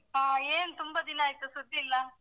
ಹಾ, ಏನ್ ತುಂಬಾ ದಿನ ಆಯ್ತು ಸುದ್ದಿಯಿಲ್ಲ?